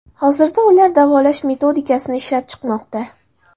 Hozirda ular davolash metodikasini ishlab chiqmoqda.